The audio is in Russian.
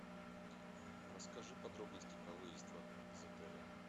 расскажи подробности про выезд из отеля